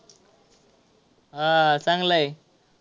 हा चांगला आहे.